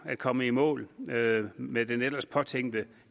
at komme i mål med med den ellers påtænkte